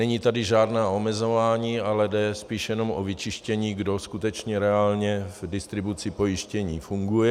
Není tady žádné omezování, ale jde spíš jenom o vyčištění, kdo skutečně reálně v distribuci pojištění funguje.